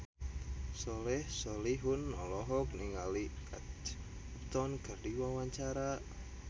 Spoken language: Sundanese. Soleh Solihun olohok ningali Kate Upton keur diwawancara